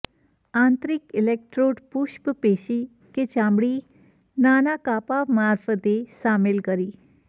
આંતરિક ઇલેક્ટ્રોડ પુષ્ટ પેશી કે ચામડી નાના કાપા મારફતે શામેલ કરી